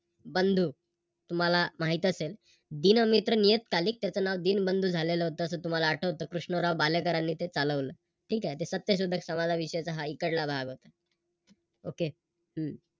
बंधू, तुम्हाला माहित असेल दीनमित्र नियतकालिक करताना त्याच नाव दिनबंधू झालेलं होत असं तुम्हाला आठवत कृष्णराव भालेकरांनी ते चालवलं. ठीक आहे ते सत्यशोधक समाजाविषयीचा हा इकडला भाग होता. Okay हम्म